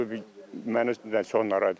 Bu məni çox narahat eləyir.